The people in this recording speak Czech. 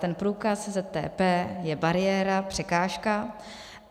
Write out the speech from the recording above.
Ten průkaz ZTP je bariéra, překážka.